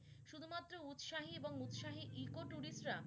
শুধু মাত্র উৎসাহী এবং উৎসাহী ইকো tourist রা